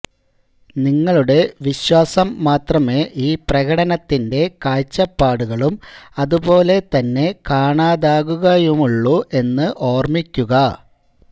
നിങ്ങളുടെ വിശ്വാസം മാത്രമേ ഈ പ്രകടനത്തിന്റെ കാഴ്ചപ്പാടുകളും അതുപോലെ തന്നെ കാണാതാകുകയുമുള്ളൂ എന്ന് ഓർമ്മിക്കുക